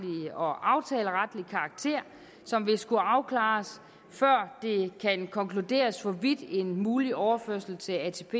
og aftaleretlig karakter som vil skulle afklares før det kan konkluderes hvorvidt en mulig overførsel til atp